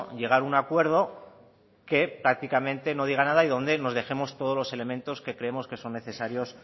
llegar a un acuerdo que prácticamente no diga nada y donde nos dejemos todos los elementos que creemos que son necesarios